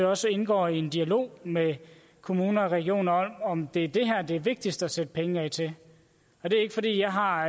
også indgår i en dialog med kommuner og regioner om det er det her det er vigtigst at sætte penge af til og det er ikke fordi jeg har